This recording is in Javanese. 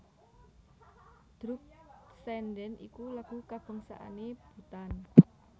Druk tsendhen iku lagu kabangsané Bhutan